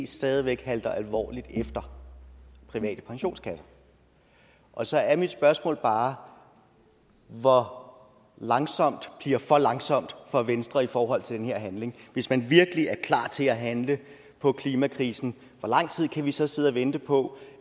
stadig væk halter alvorligt efter private pensionskasser og så er mit spørgsmål bare hvor langsomt bliver for langsomt for venstre i forhold til den her handling hvis man virkelig er klar til at handle på klimakrisen hvor lang tid kan vi så sidde og vente på